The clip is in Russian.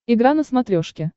игра на смотрешке